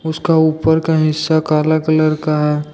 उसका ऊपर का हिस्सा काला कलर का है।